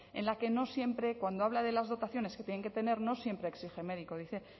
en la que no siempre cuando habla de las dotaciones que tienen que tener no siempre exige médico dice